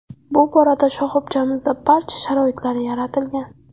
Bu borada shoxobchamizda barcha sharoitlar yaratilgan.